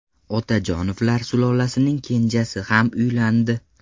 Otajonovlar sulolasining kenjasi ham uylandi .